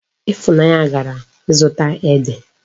Ifunanya gara izuta Ede